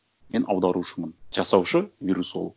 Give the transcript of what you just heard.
мен аударушымын жасаушы вирусолог